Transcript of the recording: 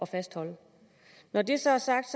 fastholde når det så er sagt